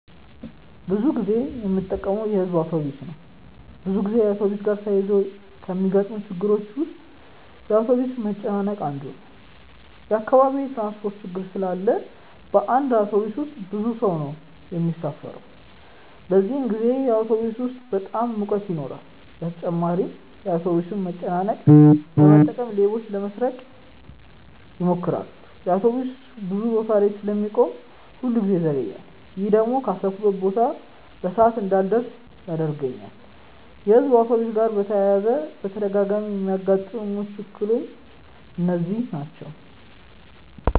ብዙ ጊዜ የምጠቀመው የሕዝብ አውቶብስ ነው። ብዙ ጊዜ አውቶብስ ጋር ተያይዞ ከሚገጥሙኝ ችግሮች ውስጥ የአውቶብስ መጨናነቅ አንዱ ነው። በአካባቢዬ የትራንስፖርት ችግር ስላለ በአንድ አውቶብስ ውስጥ ብዙ ሰው ነው የሚሳፈረው። በዚህን ጊዜ አውቶብስ ውስጥ በጣም ሙቀት ይኖራል በተጨማሪም የአውቶብሱን መጨናነቅ በመጠቀም ሌቦች ለመስረቅ ይሞክራሉ። አውቶብሱ ብዙ ቦታ ላይ ስለሚቆም ሁል ጊዜ ይዘገያል። ይሄ ደግሞ ካሰብኩበት ቦታ በሰዓት እንዳልደርስ ያደርገኛል። የሕዝብ አውቶብስ ጋር በተያያዘ በተደጋጋሚ የሚያጋጥሙኝ እክሎች እነዚህ ናቸው።